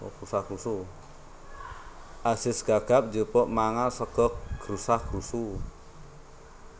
Azis Gagap njupuk mangan sega grasa grusu